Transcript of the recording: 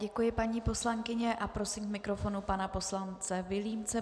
Děkuji paní poslankyni a prosím k mikrofonu pana poslance Vilímce.